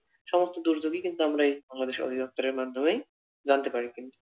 সমস্ত দুর্যোগই কিন্তু আমরা এই বাংলাদেশ অধিদপ্তরের মাধ্যমেই জানতে পারি কিন্তু।